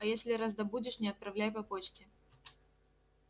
а если раздобудешь не отправляй по почте